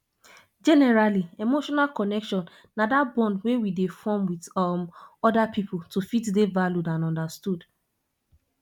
generally emotional connection na that bond wey we dey form with um oda pipo to fit dey valued and understood